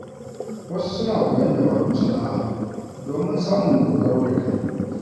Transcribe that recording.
Wasu suna koyon dabarun sana’a domin samun dogaro da kai.